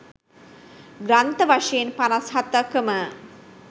ග්‍රන්ථ වශයෙන් 57 කම